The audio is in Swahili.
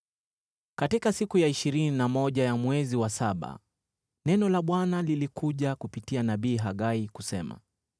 Katika siku ya ishirini na moja ya mwezi wa saba, neno la Bwana lilikuja kupitia nabii Hagai, kusema: